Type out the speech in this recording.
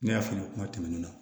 Ne y'a f'i ɲɛna kuma tɛmɛnen na